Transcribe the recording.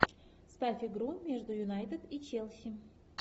ставь игру между юнайтед и челси